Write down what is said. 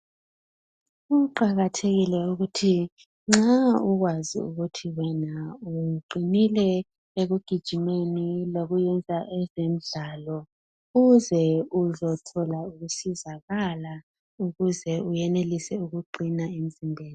Kuqakathekile ukuthi nxa ukwazi ukuthi wena uqinile ekugijimeni lokuyenza ezemidlalo uze uzothola ukusizakala ukuze uyenelise ukuqina emzimbeni.